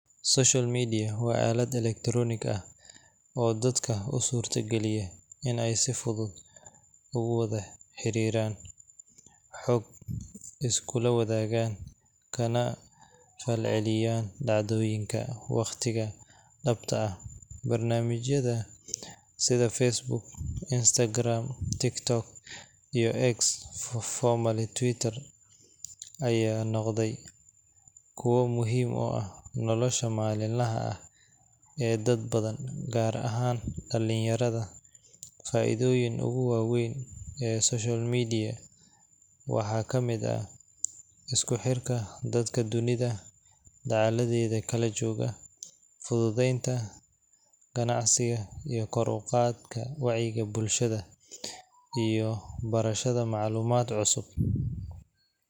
Social media waa aalado elektaroonik ah oo dadka u suurtageliya in ay si fudud ugu wada xiriiraan, xog iskula wadaagaan, kana falceliyaan dhacdooyinka waqtiga-dhabta ah. Barnaamijyada sida Facebook, Instagram, TikTok, iyo X formerly Twitter ayaa noqday kuwo muhiim u ah nolosha maalinlaha ah ee dad badan, gaar ahaan dhalinyarada. Faa’iidooyinka ugu waa weyn ee social media waxaa ka mid ah isku xirka dadka dunida dacaladeeda kala jooga, fududeynta ganacsiga, kor u qaadidda wacyiga bulshada, iyo barashada macluumaad cusub.